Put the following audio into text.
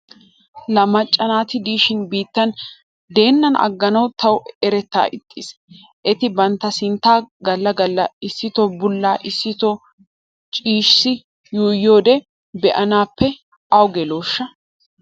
La macca naati diishin biittan deennan agganawu tawu eretaa ixxiis. Eti bantta sinttaa galla galla issitoo bulla issito shicissi yuuyyiyode be'anaappe awu gelooshsha?